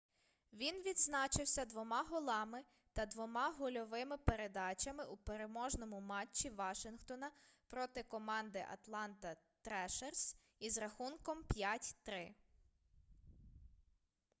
він відзначився 2 голами та 2 гольовими передачами у переможному матчі вашингтона проти команди атланта трешерс із рахунком 5:3